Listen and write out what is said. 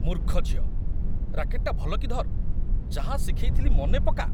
ମୂର୍ଖ ଝିଅ । ରାକେଟ୍‌ଟା ଭଲକି ଧର୍ । ଯାହା ଶିଖେଇଥିଲି ମନେପକା ।